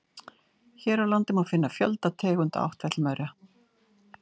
Hér á landi má finna fjölda tegunda áttfætlumaura.